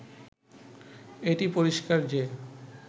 এটি পরিষ্কার যে